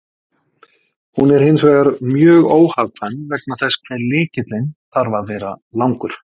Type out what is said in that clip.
Hún er hins vegar mjög óhagkvæm vegna þess hve lykillinn þarf að vera langur.